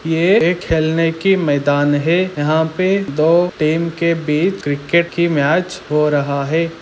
ये एक खेलने की मैदान है यहाँ पे दो टीम के बीच क्रिकेट की मैच हो रहा हैं ।